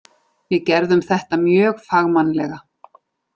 Við gerðum þetta mjög fagmannlega.